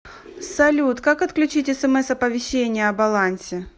салют как отключить смс оповещение о балансе